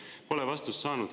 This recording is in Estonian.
Ma pole vastust saanud.